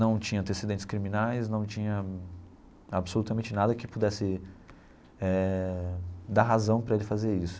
não tinha antecedentes criminais, não tinha absolutamente nada que pudesse eh dar razão para ele fazer isso.